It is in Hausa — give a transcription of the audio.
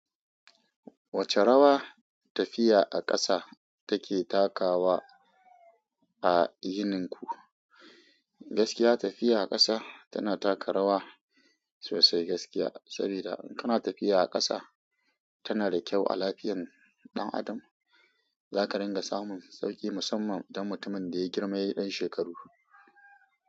Wace rawa tafiya a ƙasa take takawa a yininku? Gaskiya tafiya a ƙasa tana taka rawa sosai gaskiya, sabida in kana tafiya a ƙasa tana da kyau a lafiyan ɗan adam. Za ka ringa samun sauƙi musamman don mutumin da ya girma ya yi ɗan shekaru.